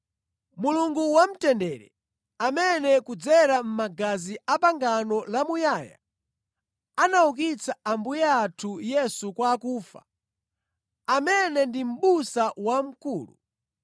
Mulungu wamtendere, amene kudzera mʼmagazi a pangano lamuyaya anaukitsa Ambuye athu Yesu kwa akufa, amene ndi Mʼbusa wamkulu,